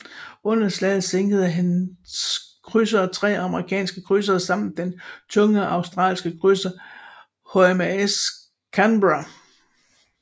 Under slaget sænkede hans krydsere tre amerikanske krydsere samt den tunge australske krydser HMAS Canberra